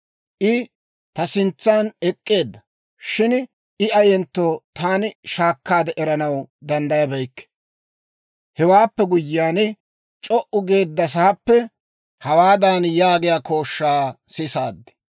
I ta sintsan ek'k'eedda; shin I ayentto taani shaakkaade eranaw danddayabeykke. Hewaappe guyyiyaan, c'o"u geeddasaappe hawaadan yaagiyaa kooshshaa sisaad;